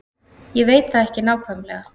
Ég veit það ekki nákvæmlega.